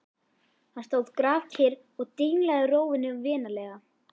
Hann stóð kyrr og dinglaði rófunni vinalega.